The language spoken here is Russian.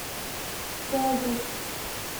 заозерск